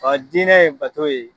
diinɛ ye bato ye.